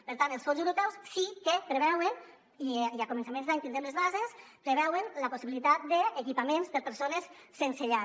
per tant els fons europeus sí que preveuen i a començaments d’any en tindrem les bases la possibilitat d’equipaments per a persones sense llar